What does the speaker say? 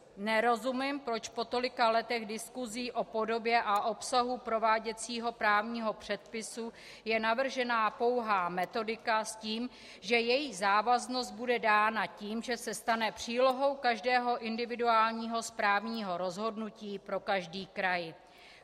Nerozumím, proč po tolika letech diskusí o podobě a obsahu prováděcího právního předpisu je navržena pouhá metodika s tím, že její závaznost bude dána tím, že se stane přílohou každého individuálního správního rozhodnutí pro každý kraj.